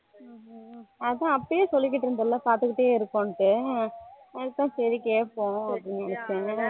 ஹம் ஹம் அப்பவே சொல்லிட்டு இருந்தல பாத்துட்டே இருக்கோம்னூடு அதுக்குதான் சரி கேப்போம் அப்படினு